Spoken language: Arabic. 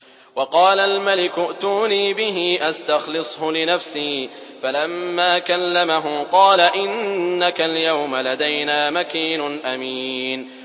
وَقَالَ الْمَلِكُ ائْتُونِي بِهِ أَسْتَخْلِصْهُ لِنَفْسِي ۖ فَلَمَّا كَلَّمَهُ قَالَ إِنَّكَ الْيَوْمَ لَدَيْنَا مَكِينٌ أَمِينٌ